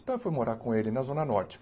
Então, eu fui morar com ele na Zona Norte.